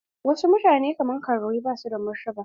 Wasu mutane kaman karuwai basu da martaba.